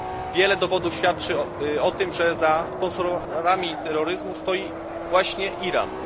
Wiele dowodów świadczy o tym, że za sponsorami terroryzmu stoi właśnie Iran.